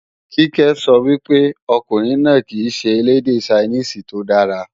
Kíkẹ́ sọ wípé, ọkùnrin náà kìí ṣe elédè Ṣainíìsì tí ó dára